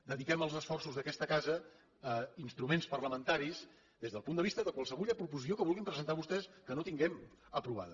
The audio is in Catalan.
dediquem els esforços d’aquesta casa a instruments parlamentaris des del punt de vista de qualsevulla proposició que vulguin presentar vostès que no tinguem aprovada